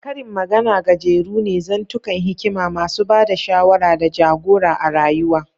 Karin magana gajeru ne, zantukan hikima masu ba da shawara da ja-gora a rayuwa.